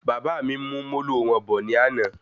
Bàbá mí mú Molo wọn bọ ní àna